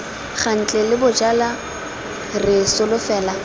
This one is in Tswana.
ntle la bojala re solofela